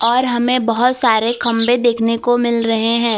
और हमें बहुत सारे खंभे देखने को मिल रहे हैं।